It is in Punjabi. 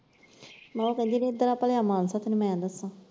ਮੈਂ ਕਿਹਾ ਉਹ ਕਹਿੰਦੀ ਹੋਊ ਇਧਰ ਆ ਭਲਿਆ ਮਾਨਸਾ ਤੈਨੂੰ ਮੈਂ ਦੱਸਾਂ।